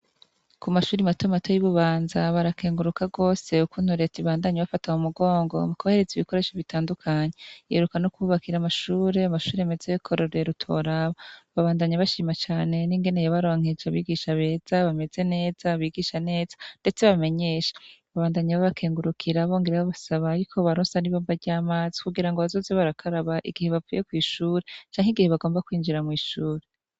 Kumashure matomato yi bubanza barakenguruka cane gose ukungene reta iguma ifashe mumugongo mukubahereza ibikoresho bitandukanye iheruka kububakira amashure meza yakarorero ntiworaba babandanya bashima cane ningene babaronkeje abigisha beza bameze neza bigisha neza ndetse bamenyesha babandanya babakengurukira bongera babasaba yuko bobaronsa amazi kugirango bazoze barakara igihe binjiye mwishure canke basohotse